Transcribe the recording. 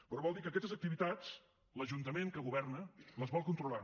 però vol dir que aquestes activitats l’ajuntament que governa les vol controlar